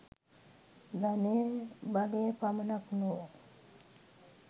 ධනය බලය පමණක් නොව